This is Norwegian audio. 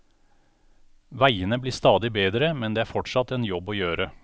Veiene blir stadig bedre, men det er fortsatt en jobb å gjøre.